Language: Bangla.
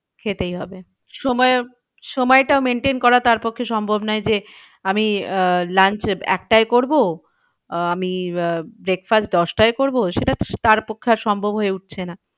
খেতেই হবে সময়, সময়টা maintain করা তার পক্ষে সম্ভব নয় যে আমি আহ launch একটায় করবো। আমি আহ breakfast দশটায় করবো সেটা তার পক্ষে আর সম্ভব হয়ে উঠছে না।